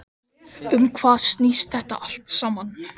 Um hvað snýst þetta allt saman?